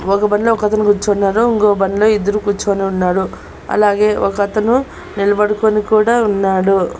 ఒక బండ్లో ఒకతను కూర్చున్నాడు ఇంకో బండ్లో ఇద్దరు కూర్చొని ఉన్నారు అలాగే ఒక అతను నిలబడుకొని కూడా ఉన్నాడు.